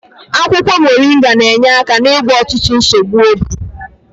Akwụkwọ moringa na-enye aka n'ịgwọ ọtụtụ nsogbu obi.